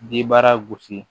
Jibara gosi